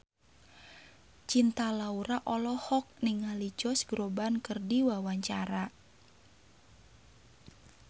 Cinta Laura olohok ningali Josh Groban keur diwawancara